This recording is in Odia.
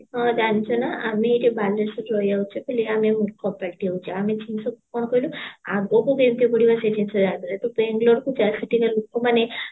ହଁ ଜାଣିଛୁ ନା ଆମେ ଏଠି ବାଲେଶ୍ଵର ରହିଆସୁଚେ ବୋଲି ଆମେ ମୂର୍ଖ ପାଲଟି ଯାଉଛେ ଆମେ ସବୁ କଣ କହିଲୁ ଆଗକୁ କେମିତି ବଢିବା ଲୋକମାନେ